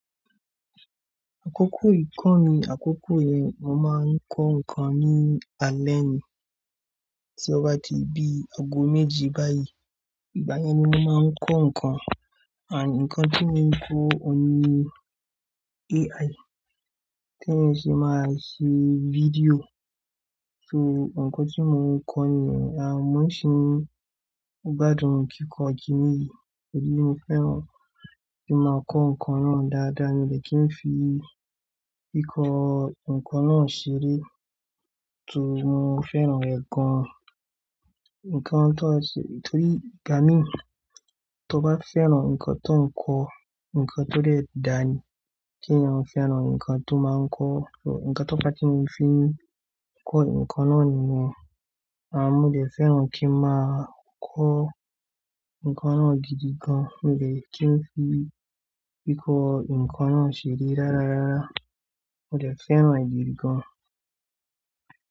Àkókò yì kọ́ ni àkókò yẹn mo máa ń kọ́ nǹkan ní alẹ́ ni, tí ó bá ti di ago méjì báyìí. Ìgbà yẹn ni mo máa ń kọ́ nǹkan, and nǹkan tí mo ń kọ́ òun ni AI. Tí èmi ṣe máa ṣe fídíò. So nǹkan tí mo ń kọ́ nìyẹn, àmọ́ ṣín gbádùn kíkọ́ òjì níyìí, òdí mi fẹ́ràn kí máa kọ́ nǹkan náà dáadáa ni mo dẹ̀ kí n fi kíkọ́ nǹkan náà ṣeré. Tòun mo fẹ́ràn ẹ̀ gan. Nǹkan tó ṣe-- torí gáà mi, tó bá fẹ́ràn nǹkan tó ń kọ́, nǹkan tó dẹ dà ni kí ẹ fẹ́ràn nǹkan tó máa ń kọ́. So nǹkan tó bá ti mo fi kọ́ nǹkan náà nìyẹn, àmọ́ mo dẹ̀ fẹ́ràn kí n máa kọ́ nǹkan náà gidi gan. Mo dẹ̀ kí n fi kíkọ́ nǹkan náà ṣeré rárarára. Mo dẹ̀ fẹ́ràn èyí gan.